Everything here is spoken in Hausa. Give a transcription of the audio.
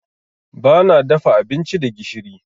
Bana dafa abinci da gishiri.